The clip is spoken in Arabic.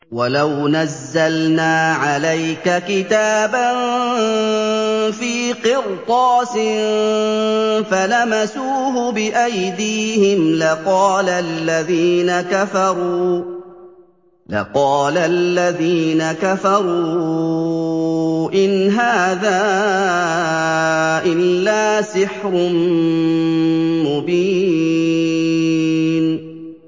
وَلَوْ نَزَّلْنَا عَلَيْكَ كِتَابًا فِي قِرْطَاسٍ فَلَمَسُوهُ بِأَيْدِيهِمْ لَقَالَ الَّذِينَ كَفَرُوا إِنْ هَٰذَا إِلَّا سِحْرٌ مُّبِينٌ